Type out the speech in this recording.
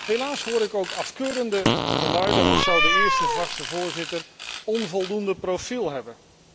Helaas hoor ik ook afkeurende geluiden, als zou de eerste vaste voorzitter onvoldoende profiel hebben.